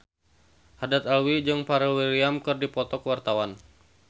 Haddad Alwi jeung Pharrell Williams keur dipoto ku wartawan